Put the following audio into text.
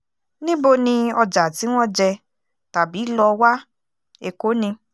níbo ni ọjà tí wọ́n jẹ tàbí lọ wá èkó ni